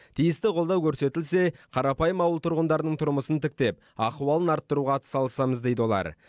тиісті қолдау көрсетілсе қарапайым ауыл тұрғындарының тұрмысын тіктеп ахуалын арттыруға атсалысамыз дейді олар